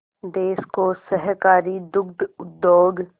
देश को सहकारी दुग्ध उद्योग